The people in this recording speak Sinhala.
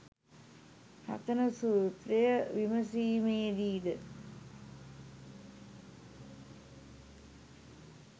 රතන සූත්‍රය විමසීමේදී ද